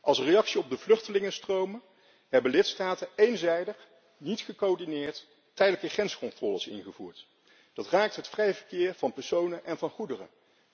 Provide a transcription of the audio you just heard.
Als reactie op de vluchtelingenstromen hebben lidstaten eenzijdig, niet gecoördineerd, tijdelijke grenscontroles ingevoerd. Dat raakt het vrij verkeer van personen en goederen.